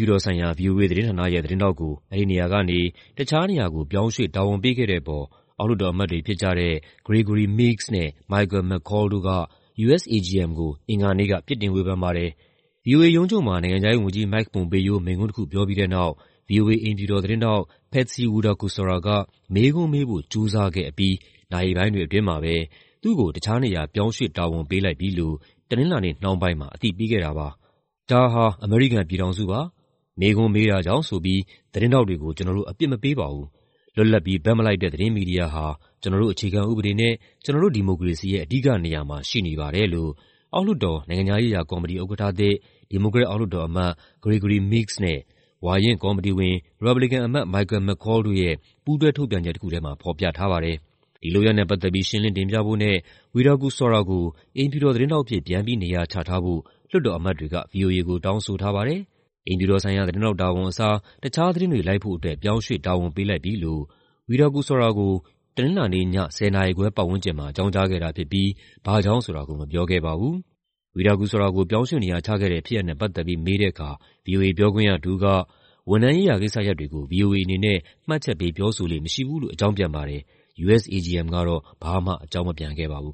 ြူတော်ဆိုင်ရာ ဗွီအိုအေသတင်းဌာန သတင်းထောက်ကို အဲဒီနေရာကနေ တခြားနေရာကို ပြောင်းရွှေ့တာဝန်ပေးခဲ့တဲ့အပေါ် အောက်လွှတ်တော်အမတ်တွေဖြစ်ကြတဲ့ Gregory Meeks နဲ့ Michael McCaul တို့က USAGM ကို အင်္ဂါနေ့က ပြစ်တင်ဝေဖန်ပါတယ်။ ဗွီအိုအေရုံးချုပ်မှာ နိုင်ငံခြားရေးဝန်ကြီး Mike Pompeo မိန့်ခွန်းတခုပြောပြီးတဲ့နောက် ဗွီအိုအေ အိမ်ဖြူတော်သတင်းထောက် Patsy Widakuswara က မေးခွန်းမေးဖို့ ကြိုးစားခဲ့အပြီး နာရီပိုင်းတွေအတွင်းမှာပဲ သူ့ကို တခြားနေရာ ပြောင်းရွှေ့တာဝန်ပေးလိုက်ပြီလို့ တနင်္လာနေ့နှောင်းပိုင်းမှာ အသိပေးခဲ့တာပါ။ "ဒါဟာ အမေရိကန်ပြည်ထောင်စုပါ။ မေးခွန်းမေးတာကြောင့်ဆိုပြီး သတင်းထောက်တွေကို ကျနော်တို့ အပြစ်မပေးပါဘူး။ လွတ်လပ်ပြီး ဘက်မလိုက်တဲ့ သတင်းမီဒီယာဟာ ကျနော်တို့ အခြေခံဥပဒေနဲ့ ကျနော်တို့ ဒီမိုကရေစီရဲ့ အဓိကနေရာမှာ ရှိနေပါတယ်။" လို့အောက်လွှတ်တော် နိုင်ငံခြားရေးရာကော်မတီဥက္ကဋ္ဌသစ်၊ ဒီမိုကရက်အောက်လွှတ်တော်အမတ် Gregory Meeks နဲ့ ဝါရင့်ကော်မတီဝင်၊ ရီပတ်ဘလီကန်အမတ် Michael McCaul တို့ရဲ့ ပူးတွဲထုတ်ပြန်ချက်တခုထဲမှာ ဖော်ပြထားပါတယ်။ ဒီလုပ်ရပ်နဲ့ပတ်သက်ပြီး ရှင်းလင်းတင်ပြဖို့နဲ့ Widakuswara ကို အိမ်ဖြူတော်သတင်းထောက်အဖြစ် ပြန်ပြီးနေရာချထားဖို့ လွှတ်တော်အမတ်တွေက ဗွီအိုအေကိုတောင်းဆိုထားပါတယ်။ အိမ်ဖြူတော်ဆိုင်ရာ သတင်းထောက်တာဝန်အစား တခြားသတင်းတွေ လိုက်ဖို့အတွက် ပြောင်းရွှေ့တာဝန်ပေးလိုက်ပြီလို့ Widakuswara ကို တနင်္လာနေ့ည ၁၀ နာရီခွဲပတ်ဝန်းကျင်မှာ အကြောင်းကြားခဲ့တာဖြစ်ပြီး ဘာ့ကြောင့်ဆိုတာကို မပြောခဲ့ပါဘူုး။ Widakuswara ကို ပြောင်းရွှေ့နေရာချခဲ့တဲ့ဖြစ်ရပ်နဲ့ ပတ်သက်ပြီး မေးတဲ့အခါ ဗွီအိုအေပြောခွင့်ရတဦးက ဝန်ထမ်းရေးရာကိစ္စရပ်တွေကို ဗွီအိုအေအနေနဲ့ မှတ်ချက်ပေးပြောဆိုလေ့မရှိဘူးလို့ အကြောင်းပြန်ပါတယ်။ USAGM ကတော့ ဘာမှ အကြောင်းမပြန်ခဲ့ပါဘူး